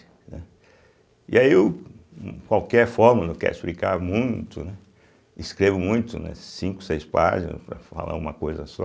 Né. E aí, eu qualquer fórmula eu quero explicar muito, né escrevo muito, né, cinco, seis páginas para falar uma coisa só,